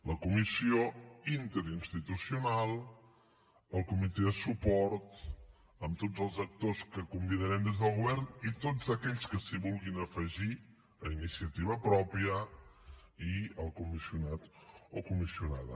la comissió interinstitucional el comitè de suport amb tots els actors que convidarem des del govern i tots aquells que s’hi vulguin afegir a iniciativa pròpia i el comissionat o comissionada